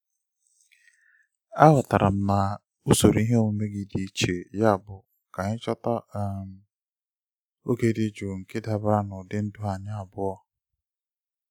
aghọtara m na usoro ihe omume gị dị iche yabụ ka anyị chọta um oge dị jụụ nke dabara n'ụdị ndụ anyị abụọ. um